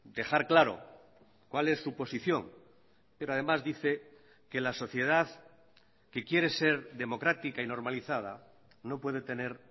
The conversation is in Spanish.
dejar claro cuál es su posición pero además dice que la sociedad que quiere ser democrática y normalizada no puede tener